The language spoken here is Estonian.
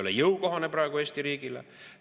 See ei ole praegu Eesti riigile jõukohane.